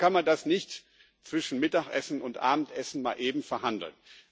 Deswegen kann man das nicht zwischen Mittagessen und Abendessen mal eben verhandeln.